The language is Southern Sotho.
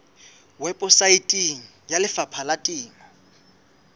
weposaeteng ya lefapha la temo